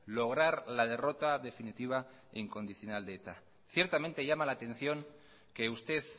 lograr la derrota definitiva e incondicional de eta ciertamente llama la atención que usted